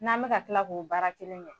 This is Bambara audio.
N'an bɛ ka tila k'o baara kelen kɛ